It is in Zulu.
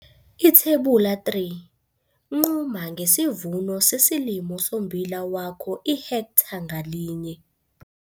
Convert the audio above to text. Ithebula 3- Nquma ngesivuno sesilimo sommbila wakho ihektha ngalinye.